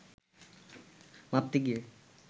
মাপতে গিয়ে